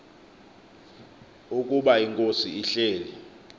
ukuba inkosi ihleli